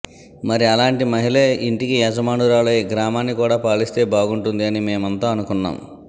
మరి అలాంటి మహిళే ఇంటికి యజమానురాలై గ్రామాన్ని కూడా పాలిస్తే బాగుంటుంది అని మేమంతా అనుకున్నాం